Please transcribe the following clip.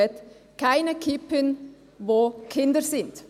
«Keine Kippen, wo Kinder sind».